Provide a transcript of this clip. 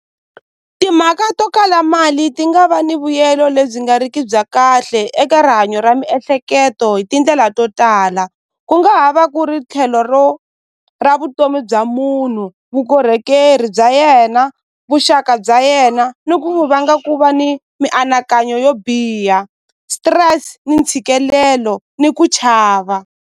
Timhaka to kala mali ti nga va ni vuyelo lebyi nga riki bya kahle eka rihanyo ra miehleketo hi tindlela to tala ku nga ha va ku ri tlhelo ro ra vutomi bya munhu vukorhokeri bya yena vuxaka bya yena ni ku vanga ku va ni mianakanyo yo biha stress ni ntshikelelo ni ku chava.